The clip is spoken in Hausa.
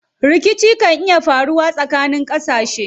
Rikici kan iya faruwa tsakanin ƙasashe.